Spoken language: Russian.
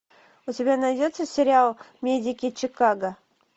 у тебя найдется сериал медики чикаго